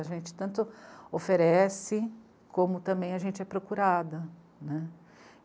A gente tanto oferece como também a gente é procurada, né.